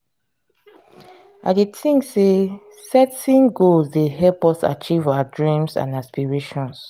i dey think say setting goals dey help us achieve our dreams and aspirations.